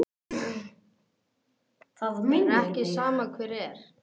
Það er ekki sama hver er.